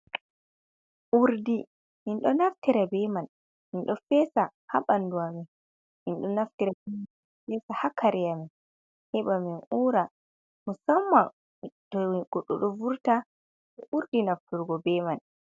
Urdi min ɗo naftira be man, min ɗo peesa haa ɓanndu a min, min ɗo naftira be man peesa haa kare a min, he ɓa min uura, musamman to goɗɗo ɗo vurta, ɓe ɗuuɗi nafturgo be man.